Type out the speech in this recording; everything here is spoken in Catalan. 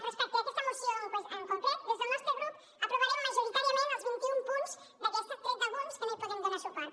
respecte a aquesta moció en concret des del nostre grup aprovarem majoritàriament els vint i un punts d’aquesta tret d’alguns als que no podem donar suport